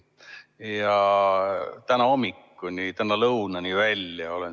Olen seda teinud täna hommikuni, täna lõunani välja.